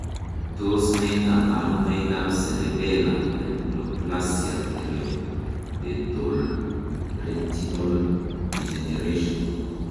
Tos nee koborunoikab Cerebellar hypoplasia tapetoretinal degeneration?